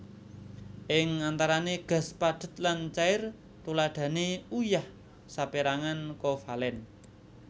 Ing antarane gas padhet lan cair Tuladhane uyah saperangan kovalen